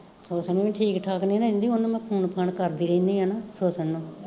ਹੁਸਨ ਵੀ ਠੀਕ ਠਾਕ ਨੀ ਰਹਿੰਦੀ, ਓਹਨੁ ਮੈਂ ਫੋਨ ਫਾਨ ਕਰਦੀ ਰਹਿਣੀ ਆ ਨਾ, ਹੁਸਨ ਨੂੰ